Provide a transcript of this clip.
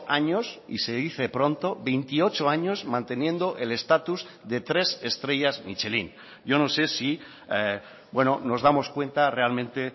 años y se dice pronto veintiocho años manteniendo el estatus de tres estrellas michelín yo no sé si nos damos cuenta realmente